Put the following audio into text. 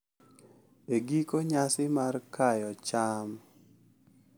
E giko, nyasi mar kayo cham .